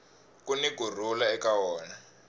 kuni ku rhula eka wona